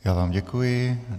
Já vám děkuji.